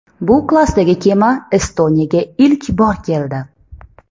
Bu klassdagi kema Estoniyaga ilk bor keldi.